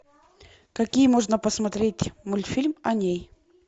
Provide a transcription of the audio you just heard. какие можно посмотреть мультфильм о ней